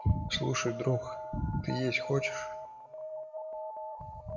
слушай друг ты есть хочешь